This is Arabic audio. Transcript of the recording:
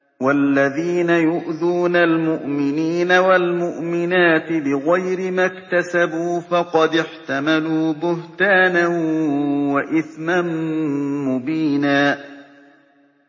وَالَّذِينَ يُؤْذُونَ الْمُؤْمِنِينَ وَالْمُؤْمِنَاتِ بِغَيْرِ مَا اكْتَسَبُوا فَقَدِ احْتَمَلُوا بُهْتَانًا وَإِثْمًا مُّبِينًا